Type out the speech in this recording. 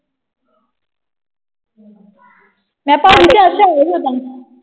ਮੈਂ ਪਾਜੀ ਓਦਣ।